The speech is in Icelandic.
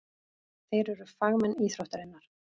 Þeir eru fagmenn íþróttarinnar.